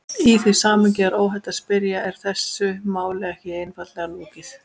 Í því samhengi er óhætt að spyrja: Er þessu máli ekki einfaldlega lokið?